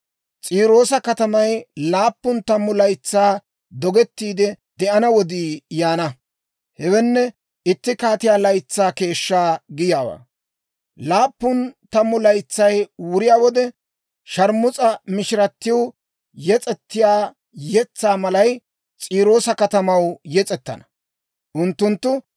S'iiroosa katamay laappun tammu laytsaa dogettiide de'ana wodii yaana; hewenne, itti kaatiyaa laytsaa keeshshaa giyaawaa. Laappun tammu laytsay wuriyaa wode, sharmus'a mishiratiw yes'ettiyaa yetsaa malay, S'iiroosa katamaw yes'ettana. Unttunttu,